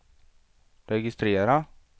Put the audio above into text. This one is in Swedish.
registrera